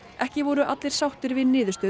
ekki voru allir sáttir við niðurstöðu